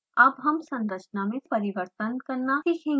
अब हम संरचना में परिवर्तन करना सीखेंगे